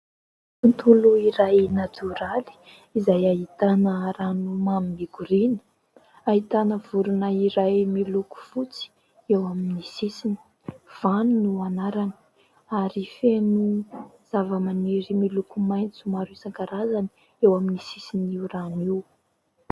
Tontolo iray natoraly izay ahitana rano mamy mikoriana, ahitana vorona iray miloko fotsy eo amin'ny sisiny; Vano no anarany ary feno zava-maniry miloko maitso maro isan-karazany eo amin'ny sisiny io rano io.